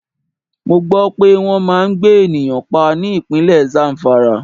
Mo gbó pé wọn máa ń gbé ènìyàn pa ní Ìpínlẹ̀ Zamfara.